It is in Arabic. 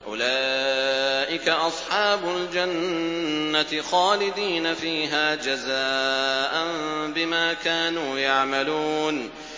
أُولَٰئِكَ أَصْحَابُ الْجَنَّةِ خَالِدِينَ فِيهَا جَزَاءً بِمَا كَانُوا يَعْمَلُونَ